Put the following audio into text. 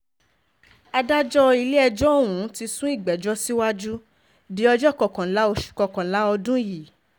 adájọ́ ilé-ẹjọ́ ọ̀hún ti sún ìgbẹ́jọ́ síwájú di ọjọ́ kọkànlá oṣù kọkànlá ọdún yìí